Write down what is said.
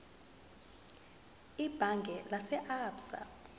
ebhange lase absa